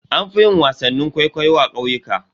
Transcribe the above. An fi yin wasannin kwaikwayo a ƙauyuka.